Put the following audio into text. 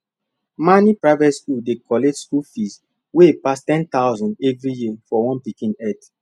mani private school dey collect school fees wey pass 10000 everi year for one pikin head